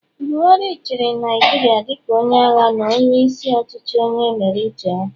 Buhari chịrị Naijiria dịka onye agha na onye isi ọchịchị onye mere uche ya